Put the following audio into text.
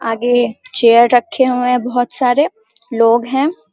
आगे चेयर रखे हुए है बहुत सारे लोग है।